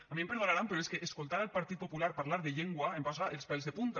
a mi em perdonaran però és que escoltar el partit popular parlar de llengua em posa els pèls de punta